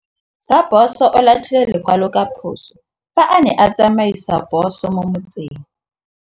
Raposo o latlhie lekwalô ka phosô fa a ne a tsamaisa poso mo motseng.